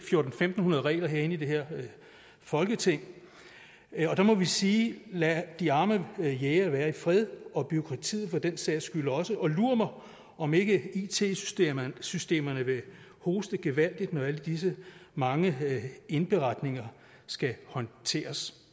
tusind fem hundrede regler herinde i det her folketing og der må vi sige lad de arme jægere være i fred og bureaukratiet for den sags skyld også og lur mig om ikke it systemerne systemerne vil hoste gevaldigt når alle disse mange indberetninger skal håndteres